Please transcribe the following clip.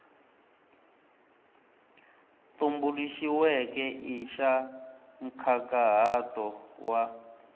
tumbuluxiweke i xa nkhaqato wa